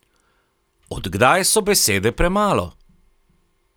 Od kdaj so besede premalo?